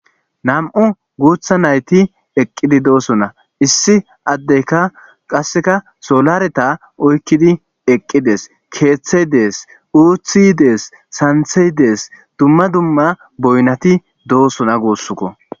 nam7u guutha nayti eqqidi doosona issi addeyka qasseka solareta oykkidi eqqides keeththey dees uuthi dees santhey dees dumma dumma boynati doosona guussukko